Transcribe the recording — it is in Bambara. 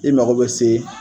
I mako bɛ se